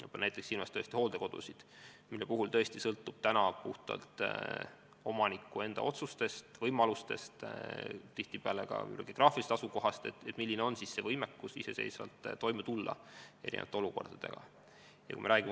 Ma pean silmas näiteks hooldekodusid, mille puhul tõesti sõltub puhtalt omaniku enda otsustest ja võimalustest, tihtipeale ka geograafilisest asukohast, milline on võimekus erinevates olukordades iseseisvalt toime tulla.